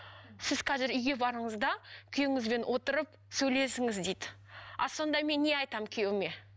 сіз қазір үйге барыңыз да күйеуіңізбен отырып сөйлесіңіз дейді а сонда мен не айтамын күйеуіме